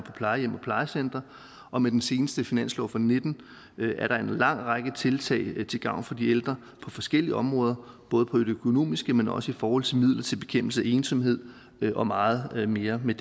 plejecentre og med den seneste finanslov for nitten er der en lang række tiltag til gavn for de ældre på forskellige områder både på det økonomiske område men også i forhold til midler til bekæmpelse af ensomhed og meget mere med